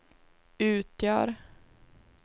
utgör